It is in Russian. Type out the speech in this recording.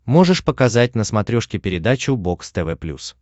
можешь показать на смотрешке передачу бокс тв плюс